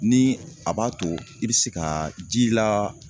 Ni a b'a to i bi se ka ji la